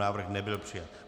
Návrh nebyl přijat.